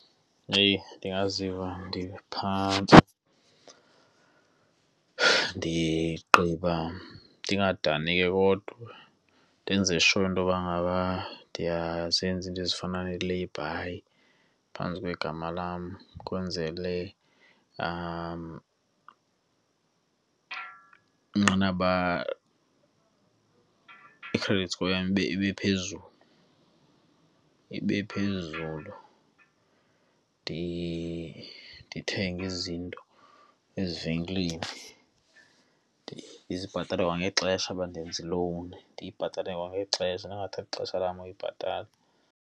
Heyi! Ndingaziva ndiphantsi, ndigqiba, ndingadani ke kodwa ndenze sure intoba ngaba ndiyazenza iinto ezifana neeleyibhayi phantsi kwegama lam kwenzele inqanaba, i-credit score yam ibe phezulu ibe phezulu. ndithenge izinto ezivenkileni ndizibhatale kwangexesha. Uba ndenza ilowuni, ndiyibhatale kwangexesha ndingathathi ixesha lam uyibhatala.